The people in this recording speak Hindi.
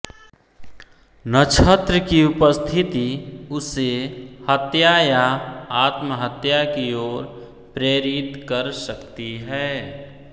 नक्षत्र की उपस्थिति उसे हत्या या आत्महत्या की ओर प्रेरित कर सकती है